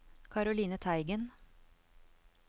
Caroline Teigen